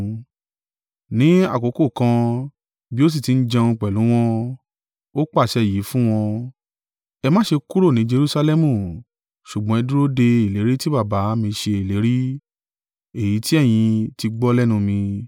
Ní àkókò kan bí ó sì ti ń jẹun pẹ̀lú wọn, ó pàṣẹ yìí fún wọn, “Ẹ má ṣe kúrò ní Jerusalẹmu, ṣùgbọ́n ẹ dúró de ìlérí tí Baba mi ṣe ìlérí, èyí tí ẹ̀yin tí gbọ́ lẹ́nu mi.